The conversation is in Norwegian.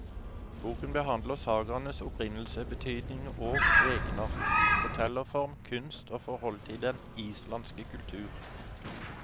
Boken behandler sagaenes opprinnelse, betydning og egenart, fortellerform, kunst og forholdet til den islandske kultur.